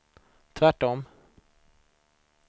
tvärtom